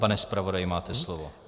Pane zpravodaji, máte slovo.